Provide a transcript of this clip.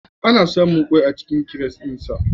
Ana samun kwai a cikin kiret ɗin sa